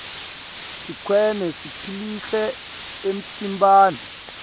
sitiqune siphilcle emtimbani